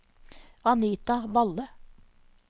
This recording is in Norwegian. Anita Valle